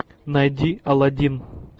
найди аладдин